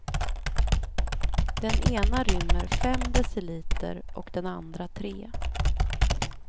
Den ena rymmer fem deciliter och den andra tre.